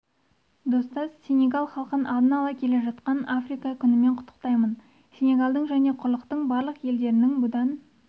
достас сенегал халқын алда келе жатқан африка күнімен құттықтаймын сенегалдың және құрлықтың барлық елдерінің бұдан